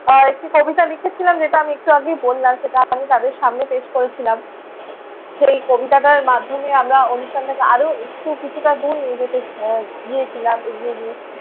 আহ একটি কবিতা লিখেছিলাম যেটা আমি একটু আগেই বললাম সেটা আমি তাঁদের সামনে পেশ করেছিলাম। সেই কবিতাটার মাধ্যমে আমরা অনুষ্ঠানটাকে আরও একটু কিছুটা দূর নিয়ে যেতে আহ গিয়েছিলাম এগিয়ে নিয়ে